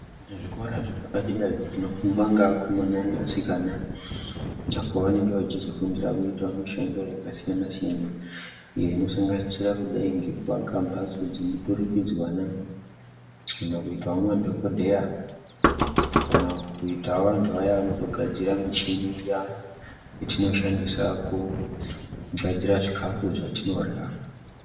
Zvikora zvepadera zvinofundwa ngeakomana neasikana pavanenge vachizofundira kuita mishando yakasiyana-siyana iyo inosanganisira kudai ngekuaka mbasto dzemuturikidzwana, kana kuitawo madhokodheya, kana kuitawo antu aya anozo gadzira michini iya yatinoshandisa kugadzira zvikafu zvatinorya.